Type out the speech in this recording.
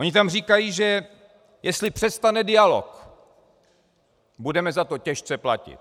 Oni tam říkají, že jestli přestane dialog, budeme za to těžce platit.